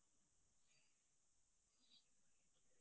.